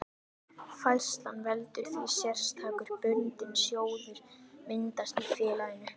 Færslan veldur því að sérstakur bundinn sjóður myndast í félaginu.